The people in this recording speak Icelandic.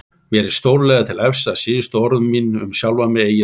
Mér er stórlega til efs að síðustu orð mín um sjálfan mig eigi þar heima.